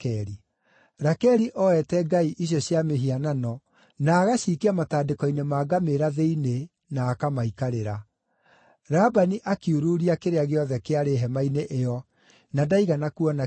Rakeli oete ngai icio cia mĩhianano na agacikia matandĩko-inĩ ma ngamĩĩra thĩinĩ na akamaikarĩra. Labani akiururia kĩrĩa gĩothe kĩarĩ hema-inĩ ĩyo na ndaigana kuona kĩndũ.